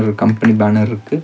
இங்க ஒரு company banner இருக்கு.